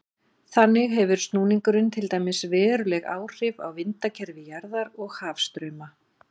þannig hefur snúningurinn til dæmis veruleg áhrif á vindakerfi jarðar og hafstrauma